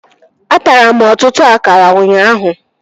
Atara m ọtụtụ akara ụnyaahụ